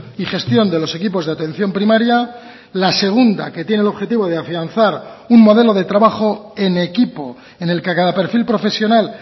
y gestión de los equipos de atención primaria la segunda que tiene el objetivo de afianzar un modelo de trabajo en equipo en el que a cada perfil profesional